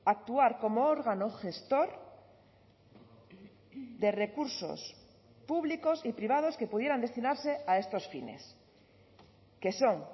actuar como órgano gestor de recursos públicos y privados que pudieran destinarse a estos fines que son